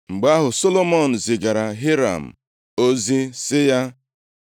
Mgbe ahụ, Solomọn zigara Hiram ozi, sị ya: